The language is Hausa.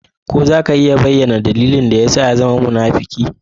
Ko za ka iya bayyana dalilin da ya sa ka zama munafuki?